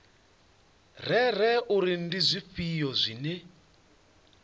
rere uri ndi zwifhio zwine